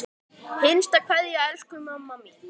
HINSTA KVEÐJA Elsku mamma mín.